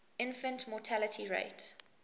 infant mortality rate